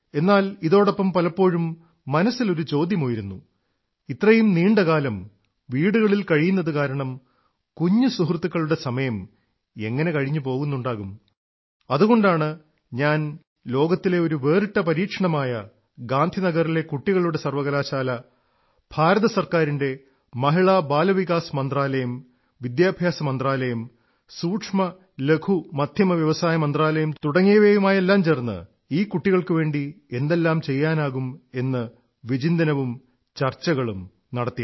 എന്നാൽ ഇതോടൊപ്പം പലപ്പോഴും മനസ്സിൽ ഒരു ചോദ്യമുയരുന്നു ഇത്രയും നീണ്ട കാലം വീടുകളിൽ കഴിയുന്നതു കാരണം കുഞ്ഞു സുഹൃത്തുകളുടെ സമയം എങ്ങനെ കഴിഞ്ഞുപോകുന്നുണ്ടാകും അതുകൊണ്ടാണ് ഞാൻ ലോകത്തിലെ ഒരു വേറിട്ട പരീക്ഷണമായ ഗാന്ധിനഗറിലെ കുട്ടികളുടെ സർവ്വകലാശാല ഭാരത സർക്കാരിന്റെ മഹിളാബാലവികാസ് മന്ത്രാലയം വിദ്യാഭ്യാസ മന്ത്രാലയം സൂക്ഷ്മലഘുമധ്യമ വ്യവസായ മന്ത്രാലയം തുടങ്ങിയവയുമായെല്ലാം ചേർന്ന് ഈ കുട്ടികൾക്കുവേണ്ടി എന്തെല്ലാം ചെയ്യാനാകും എന്ന് വിചിന്തനവും ചർച്ചകളും നടത്തി